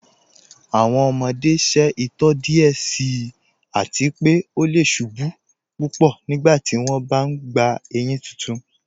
Awọn ọmọde ṣẹ itọ díẹ̀ síì àti pé ọ lẹ̀ ṣubú púpọ́ nígbàtí wọn bá n gbà éyin títún.